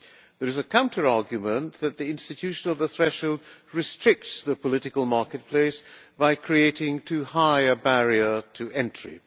There is a counter argument that the institution of the threshold restricts the political marketplace by creating too high a barrier to entry.